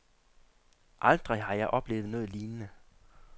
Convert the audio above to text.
Aldrig har jeg oplevet noget lignende.